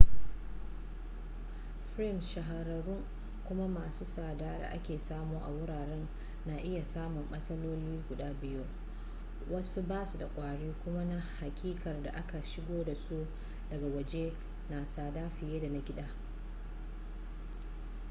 frames shahararrun kuma masu tsada da ake samu a wuraren na iya samun matsaloli guda biyu wasu basu da kwari kuma na hakikar da aka shigo da su daga waje na da tsada fiye da na gida